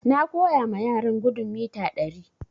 Na koya ma yaran gudun mita ɗari